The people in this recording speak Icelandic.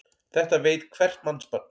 Þetta veit hvert mannsbarn.